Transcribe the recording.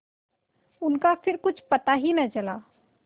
उनका फिर कुछ पता ही न चला